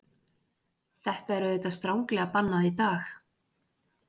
Þetta er auðvitað stranglega bannað í dag.